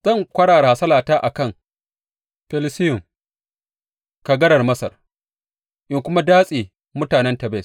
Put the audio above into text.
Zan kwarara hasalata a kan Felusiyum, kagarar Masar, in kuma datse mutanen Tebes.